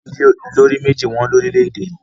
ilé olójú mẹ́ẹ̀ji wón lórílèèdè yí